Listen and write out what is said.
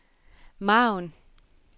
margen